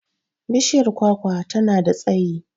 Bishiyar kwakwa ta na da tsayi.